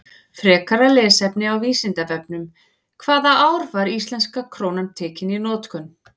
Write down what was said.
Frekara lesefni á Vísindavefnum: Hvaða ár var íslenska krónan tekin í notkun?